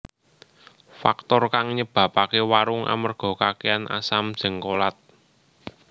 Faktor kang nyebabaké wurung amerga kakèhan asam jéngkolat